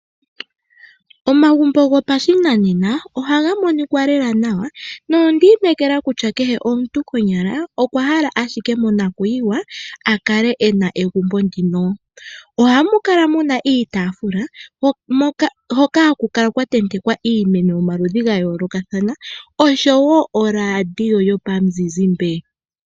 Omagumbo gopashinanena ohaga monika lela nawa no ndinekela kutya kehe omuntu konyala okwa hala ashike mona kuyiwa akale ena egumbo ndino. Ohamu kala muna iitafula hoka hakukala kwatentekwa iimeno yomaludhi gayoloka thana oshowo oradio yomuzizimbe.